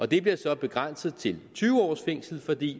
det bliver så begrænset til tyve års fængsel fordi